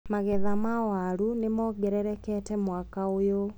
Magetha ma waru nĩmongererekete mwaka ũyũ.